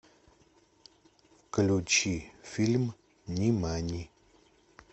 включи фильм нимани